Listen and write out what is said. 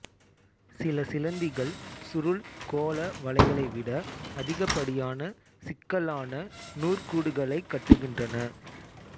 சில சிலந்திகள் சுருள் கோள வலைகளை விட அதிகப்படியான சிக்கலான நூற்கூடுகளைக் கட்டுகின்றன